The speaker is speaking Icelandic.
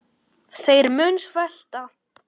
Þeir munu svelta.